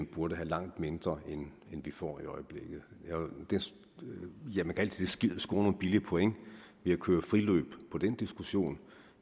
burde få langt mindre end vi får i øjeblikket man kan altid score nogle billige point ved at køre friløb i den diskussion